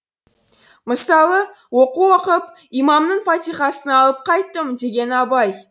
мысалы оқу оқып имамның фатиқасын алып қайттым деген абай